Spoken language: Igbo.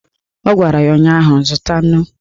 Ọ gwara ya ụnyaahụ "Zụta nnu"!